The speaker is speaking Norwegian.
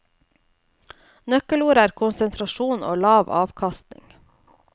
Nøkkelordet er konsentrasjon og lav avkastning.